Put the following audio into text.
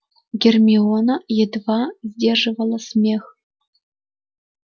гермиона едва сдерживала смех